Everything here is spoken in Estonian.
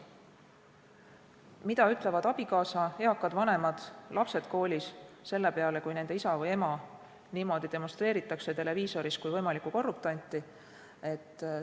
Mida selle peale ütlevad abikaasa või eakad vanemad või mida ütlevad lapsed, kui nende isa või ema niimoodi televiisoris demonstreeritakse kui võimalikku korruptanti?